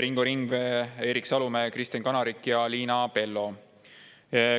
Ringo Ringvee, Erik Salumäe, Kristen Kanarik ja Liina Pello.